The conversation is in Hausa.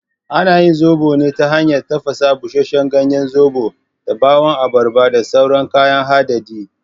Ana yin zoɓo ne ta hanyar tafasa busasshen ganyen zoɓon da ɓawon abarba da sauran kayan hadadi.